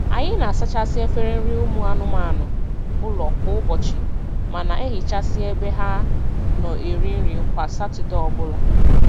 Anyị na-asachasị efere nri ụmụ anụmanụ ụlọ kwa ụbọchị ma na-ehichasi ebe ha nọ eri nri kwa Satọdee ọbụla.